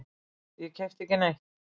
Ég keypti ekki neitt.